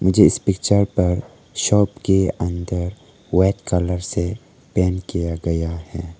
जिस पिक्चर पर शॉप के अंदर वाइट कलर से पेंट किया गया है।